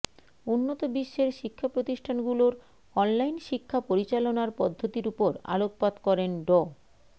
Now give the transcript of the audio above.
উন্নত বিশ্বের শিক্ষা প্রতিষ্ঠানগুলোর অনলাইন শিক্ষা পরিচালনার পদ্ধতির উপর আলোকপাত করেন ড